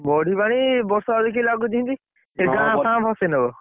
ବଢିପାଣି ବର୍ଷା କୁ ଦେଖିକି ଲାଗୁଛି ଯେମିତି, ଏଇ ଗାଁ ଫଁ ଭସେଇ ନବ।